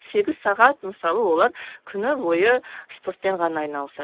сегіз сағат мысалы олар күні бойы спортпен ғана айналысады